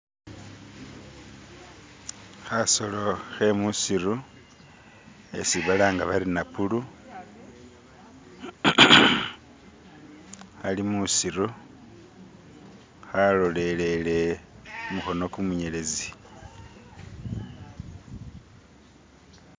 Kasolo kemwisitu kesi balanga bati napulu kali mwisitu kalolelele gumukono gumwinyelezi